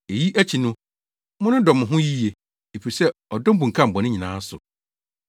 Eyi akyi no, monnodɔ mo ho yiye, efisɛ ɔdɔ bunkam bɔne nyinaa so.